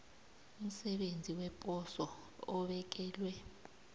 umsebenzi weposo obekelwe